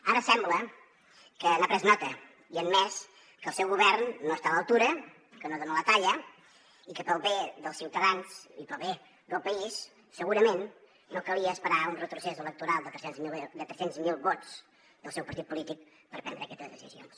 ara sembla que n’ha pres nota i ha admès que el seu govern no està a l’altura que no dona la talla i que pel bé dels ciutadans i pel bé del país segurament no calia esperar un retrocés electoral de tres cents miler vots del seu partit polític per prendre aquestes decisions